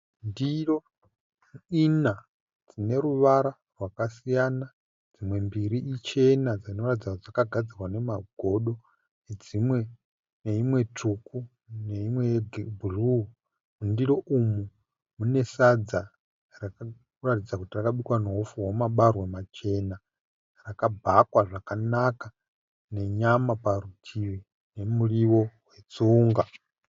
Ndiro ina dzineruvara rwakasiyana. Dzimwe mbiri ichena dzinova dzakagadzirwa nemagodo neimwe tsvuku neimwe yebhuruu. Mundiro umu mune sadza rinoratidza kuti rakabikwa nehupfu hwamabarwe machena rakabhakwa zvakanaka nenyama parutivi nemuriwo wetsunga.